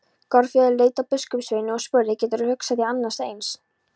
Þórður leit á biskupssveininn og spurði: Geturðu hugsað þér annað eins?!